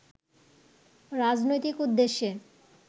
রাজনৈতিক উদ্দেশ্যে